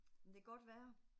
Det kan godt være